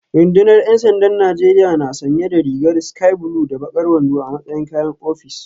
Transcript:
Rundunar ‘yan sandan Najeriya na sanye da rigar sky blue da bakar wando a matsayin kayan ofis